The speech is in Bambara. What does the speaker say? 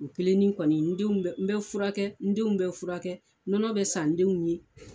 O kelennin kɔni denw n bɛ furakɛ n denw bɛ furakɛ nɔnɔ bɛ san n denw ye